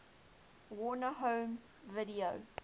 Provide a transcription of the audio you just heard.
warner home video